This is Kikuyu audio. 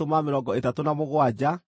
nacio ndigiri ciarĩ